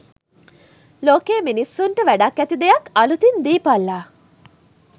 ලෝකෙ මිනිස්සුන්ට වැඩක් ඇති දෙයක් අළුතින් දීපල්ලා